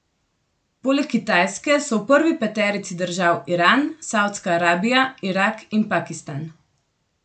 Poleg Kitajske so v prvi peterici držav Iran, Savdska Arabija, Irak in Pakistan.